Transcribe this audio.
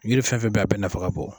Yiri fɛn fɛn be yen a bɛ nafa ka bon